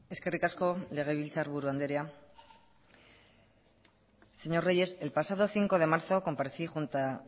eskerrik asko legebiltzarburu andrea señor reyes el pasado cinco de marzo comparecí